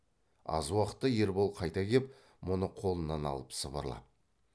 аз уақытта ербол қайта кеп мұны қолынан алып сыбырлап